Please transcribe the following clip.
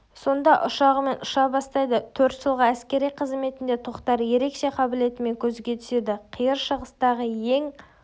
сонда ұшағымен ұша бастайды төрт жылғы әскери қызметінде тоқтар ерекше қабілетімен көзге түседі қиыр шығыстағы ең